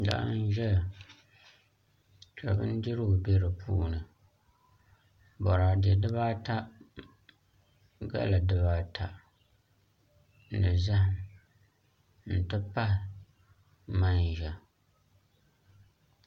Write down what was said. Laa n ʒɛya ka bindirigu bɛ di puuni boraadɛ dibaata ni galli dibaata ni zaham n ti pahi manʒa